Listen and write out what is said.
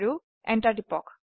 enter টিপক